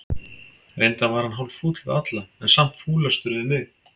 Reyndar var hann hálffúll við alla, en samt fúlastur við mig.